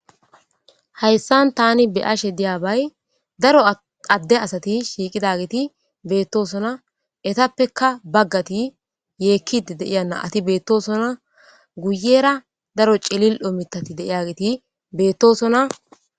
Hayisan tani be'ashe diyaba daro ade asati shiqidaysati betosona etapeka bagati yekidi de'eya nati betosona guyera daro cili'o mithati de'eya geti betesona